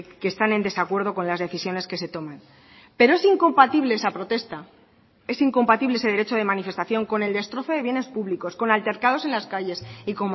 que están en desacuerdo con las decisiones que se toman pero es incompatible esa protesta es incompatible ese derecho de manifestación con el destrozo de bienes públicos con altercados en las calles y